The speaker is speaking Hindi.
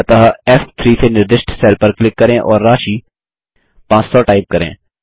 अतः फ़3 से निर्दिष्ट सेल पर क्लिक करें और राशि 500 टाइप करें